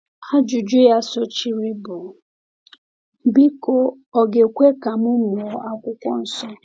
Ajụjụ ya sochiri bụ: “Biko, ọ̀ ga-ekwe ka m mụọ Akwụkwọ Nsọ?”